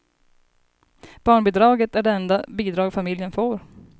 Barnbidraget är det enda bidrag familjen får.